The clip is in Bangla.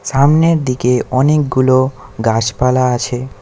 সামনের দিকে অনেকগুলো গাছপালা আছে।